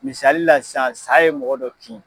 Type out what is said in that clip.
Misali la sisan sa ye mɔgɔ dɔ kin.